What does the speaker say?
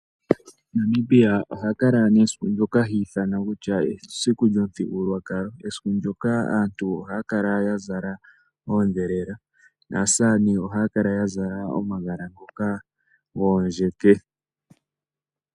Namibia ohakala nesiku ndyoka hiithana kutya esiku lyomuthigululwakalo. Esiku ndyoka aantu ohaya kala yazala oondhelela naasamane ohaya kala yazala omagala ngoka goondjeke.